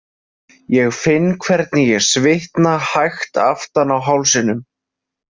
Ég finn hvernig ég svitna hægt aftan á hálsinum.